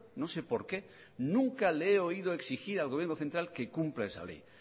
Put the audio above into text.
no sé por qué nunca le he oído exigir al gobierno central que cumpla esa ley